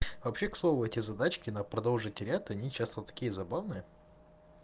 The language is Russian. вообще к слову эти задачки на продолжите ряд они часто такие забавные